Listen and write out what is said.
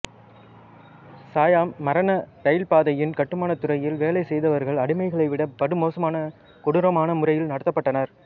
சயாம் மரண ரயில்பாதையின் கட்டுமானத் துறையில் வேலை செய்தவர்கள் அடிமைகளை விட படுமோசமான கொடூரமான முறைகளில் நடத்தப்பட்டனர்